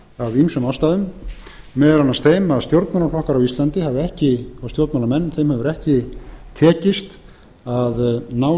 af ýmsum ástæðum meðal annars þeim að stjórnmálaflokkum og stjórnmálamönnum á íslandi hefur ekki tekist að ná